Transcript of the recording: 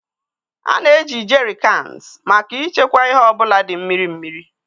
A na-eji Jerry Cans maka ịchekwa ihe ọ bụla dị mmiri mmiri.